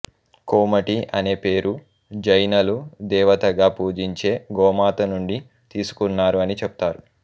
కోమటి అనే పేరు జైనలు దేవతగా పూజించే గోమాత నుండి తీసుకున్నారు అని చెప్తారు